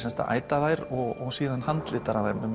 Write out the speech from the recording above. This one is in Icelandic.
æta þær og handlita þær með